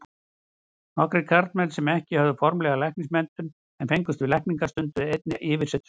Nokkrir karlmenn sem ekki höfðu formlega læknismenntun en fengust við lækningar, stunduðu einnig yfirsetustörf.